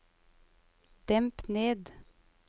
demp ned